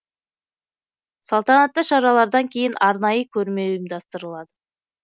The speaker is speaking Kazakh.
салтанатты шаралардан кейін арнайы көрме ұйымдастырылады